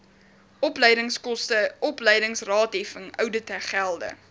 opleidingskoste opleidingsraadheffing ouditgelde